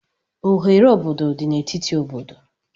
Oghere obodo dị n'etiti obodo